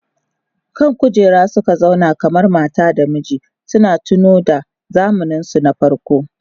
Kan kujera suka zauna kamar mata da miji suna tunowa da zamaninsu na farko.